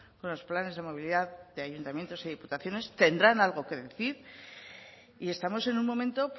con los planes de movilidad de ayuntamientos y diputaciones tendrán algo que decir y estamos en un momento